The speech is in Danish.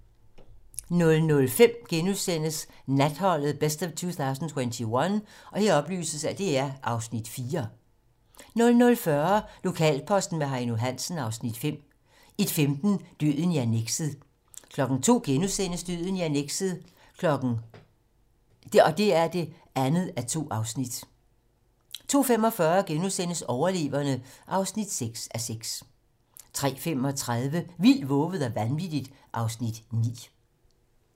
00:05: Natholdet - best of 2021 (Afs. 4)* 00:40: Lokalposten med Heino Hansen (Afs. 5) 01:15: Døden i annekset 02:00: Døden i annekset (2:2)* 02:45: Overleverne (6:6)* 03:35: Vildt, vovet og vanvittigt (Afs. 9)